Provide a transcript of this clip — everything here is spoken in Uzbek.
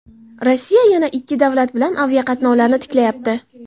Rossiya yana ikki davlat bilan aviaqatnovlarni tiklayapti.